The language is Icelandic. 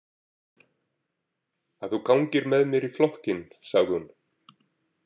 Að þú gangir með mér í flokkinn, sagði hún.